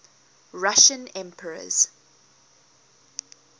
russian emperors